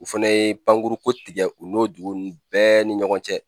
U fana ye Pankuruko tigɛ u n'o dugu ninnu bɛɛ ni ɲɔgɔn cɛ.